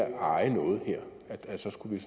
at eje noget her skulle